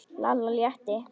Lalla létti.